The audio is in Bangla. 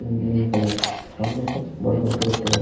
উ নীল কালার সামনে একটা বড় ঘর টো দেখতে পাই--